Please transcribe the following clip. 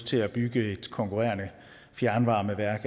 til at bygge et konkurrerende fjernvarmeværk